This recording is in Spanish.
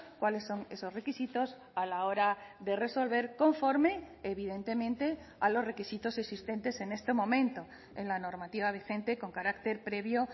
cuáles son esos requisitos a la hora de resolver conforme evidentemente a los requisitos existentes en este momento en la normativa vigente con carácter previo